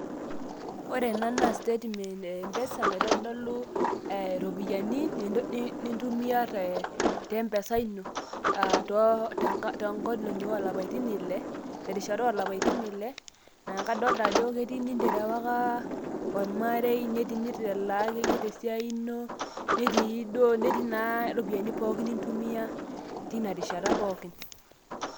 Ore ena naa statement e M-PESA naitodolu iropiyiani nintumia te M-PESA ino, aah tonkolong'i olapaitin ile, terishata olapaitin ile, na kadolta ajo ketii niterewaka ormarei, netii nitalaa akeyie tesiai ino, netii duo netii naa iropiyiani pookin nintumia tinarishata pookin.